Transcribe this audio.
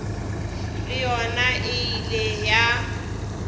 le yona e ile ya